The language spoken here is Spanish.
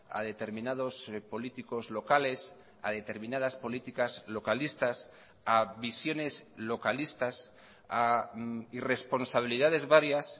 a determinados políticos locales a determinadas políticas localistas a visiones localistas a irresponsabilidades varias